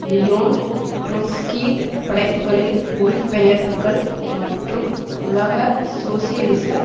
Leon ட்ரொட்ஸ்கியின் படைப்புக்களின் மொழிபெயர்ப்புக்கள் மற்றும் உலக சோசியலிச